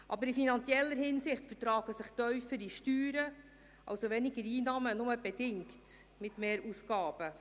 Aber in finanzieller Hinsicht vertragen sich tiefere Steuern, also weniger Einnahmen, nur bedingt mit mehr Ausgaben.